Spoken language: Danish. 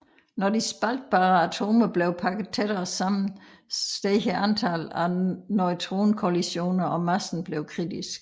Når de spaltbare atomer blev pakket tættere sammen steg antallet af neutronkollisioner og massen blev kritisk